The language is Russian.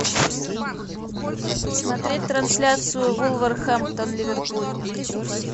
смотреть трансляцию вулверхэмптон ливерпуль